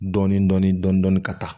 Dɔɔnin dɔɔnin dɔɔnin dɔɔnin ka taa